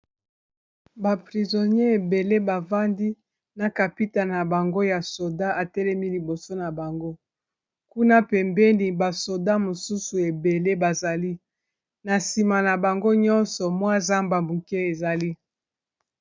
Ba prizonier ebele bafandi na kapita na bango ya soda atelemi liboso na bango kuna pembeni ba soda mosusu ebele bazali na nsima na bango nyonso mwa zamba muke ezali.